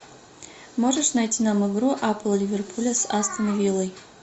можешь найти нам игру апл ливерпуля с астон виллой